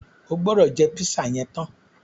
O gbọ́dọ̀ jẹ́ pízà yẹn tán!